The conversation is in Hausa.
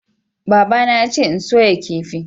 babana yace in soya kifi